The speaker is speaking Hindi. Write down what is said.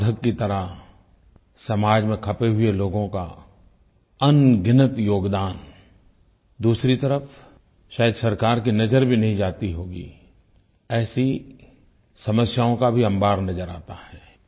साधक की तरह समाज में खपे हुए लोगों का अनगिनत योगदान दूसरी तरफ़ शायद सरकार की नज़र भी नहीं जाती होगी ऐसी समस्याओं का भी अम्बार नज़र आता है